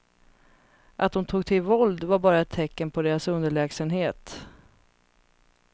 Att de tog till våld var bara ett tecken på deras underlägsenhet.